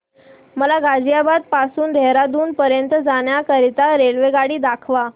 मला गाझियाबाद पासून ते देहराडून पर्यंत जाण्या करीता रेल्वेगाडी दाखवा